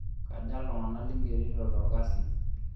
Kja iltung'ana lingerito tolkasi?